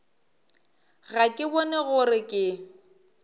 ga ke bone gore ke